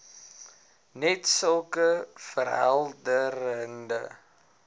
net sulke verhelderende